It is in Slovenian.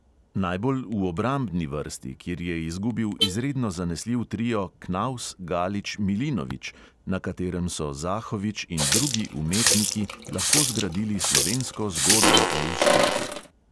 Najbolj v obrambni vrsti, kjer je izgubil izredno zanesljiv trio knavs-galič-milinovič, na katerem so zahovič in drugi "umetniki" lahko zgradili slovensko zgodbo o uspehu.